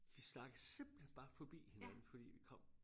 Vi snakkede simpelthen bare forbi hinanden fordi vi kom